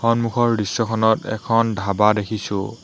সন্মুখৰ দৃশ্যখনত এখন ধাবা দেখিছোঁ।